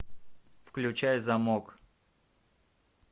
включай замок